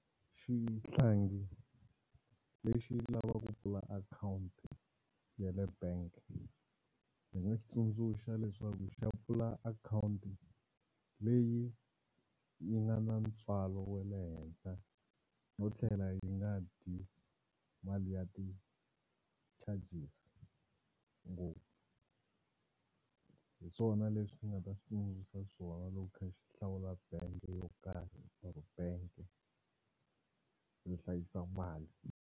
Xihlangi lexi lavaka ku pfula account ya le bank ndzi nga xi tsundzuxa leswaku xi ya pfula account leyi yi nga na ntswalo wa le henhla no tlhela yi nga dyi mali ya ti-charges ngopfu. Hi swona leswi ni nga ta xi swona loko ku kha xi hlawula bangi yo karhi or bangi yo hlayisa mali.